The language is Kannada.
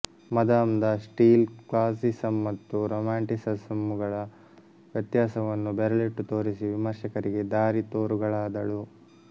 ಮದಾಂ ದ ಸ್ಟೀಲ್ ಕ್ಲಾಸಿಸಮ್ ಮತ್ತು ರೊಮ್ಯಾಂಟಿಸಿಸಮ್ಮುಗಳ ವ್ಯತ್ಯಾಸವನ್ನು ಬೆರಳಿಟ್ಟು ತೋರಿಸಿ ವಿಮರ್ಶಕರಿಗೆ ದಾರಿತೋರುಗಳಾದಳು